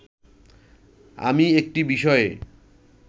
আমি একটি বিষয়ে